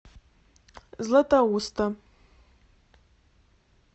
златоуста